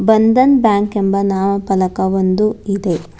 Bandhan bank ಎಂಬ ನಾಮಫಲಕ ಒಂದು ಇದೆ.